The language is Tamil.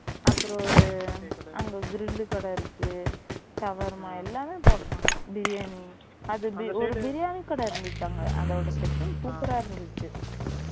அப்புறம் ஒரு அங்க grill லு கடை இருக்கு shawarma எல்லாமே பண்றாங்க biryani அது biryani அந்த biryani கடை இருந்துச்சு அங்க அதோட setting super இருந்துச்சு